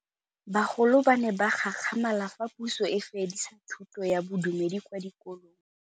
Bagolo ba ne ba gakgamala fa Pusô e fedisa thutô ya Bodumedi kwa dikolong.